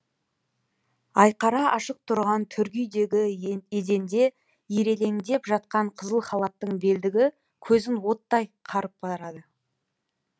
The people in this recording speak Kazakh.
айқара ашық тұрған төргі үйдегі еденде ирелеңдеп жатқан қызыл халаттың белдігі көзін оттай қарып барады